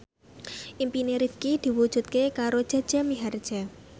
impine Rifqi diwujudke karo Jaja Mihardja